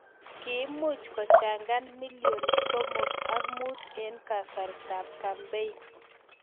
Kiimuch kochangan milion somok an muut eng' kasartap kampein